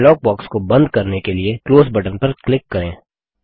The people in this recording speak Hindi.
डायलॉग बॉक्स को बंद करने के लिए क्लोज़ बटन पर क्लिक करें